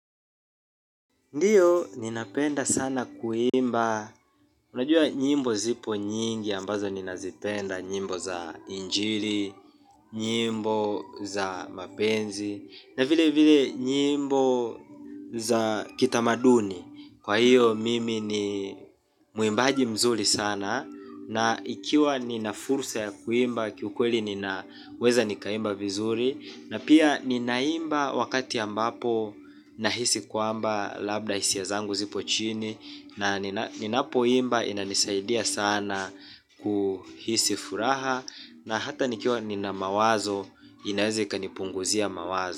Ndiyo ninapenda sana kuimba, unajua nyimbo zipo nyingi ambazo ninazipenda, nyimbo za injili, nyimbo za mapenzi, na vile vile nyimbo za kitamaduni. Kwa hiyo mimi ni muimbaji mzuri sana na ikiwa nina fursa ya kuimba kiukweli ninaweza nikaimba vizuri na pia ninaimba wakati ambapo nahisi kwamba labda hisia zangu zipo chini na ninapo imba inanisaidia sana kuhisi furaha na hata nikiwa nina mawazo inaweza ikanipunguzia mawazo.